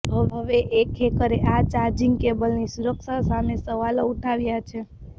હવે એક હેકરે આ ચાર્જિંગ કેબલની સુરક્ષા સામે સવાલો ઉઠાવ્યા છે